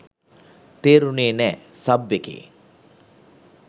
තේරුනේ නෑ! සබ් එකේ